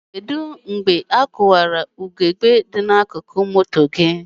Kedụ mgbe a kụwara ugegbe akụkụ moto gị?